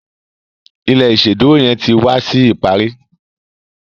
ilé iṣeduro yén tí wá sí ìparí